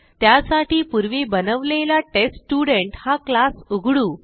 त्यासाठी पूर्वी बनवलेला टेस्टस्टुडंट हा क्लास उघडू